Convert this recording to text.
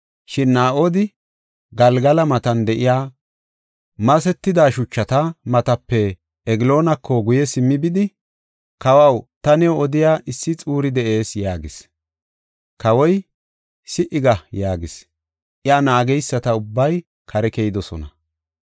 Shin Naa7odi Galgala matan de7iya masetida shuchata matape Egloonako guye simmi bidi, “Kawaw, ta new odiya issi xuuri de7ees” yaagis. Kawoy, “Si77i ga” yaagis. Iya naageysati ubbay kare keyidosona.